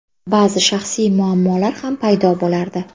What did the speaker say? Ba’zi shaxsiy muammolar ham paydo bo‘lardi.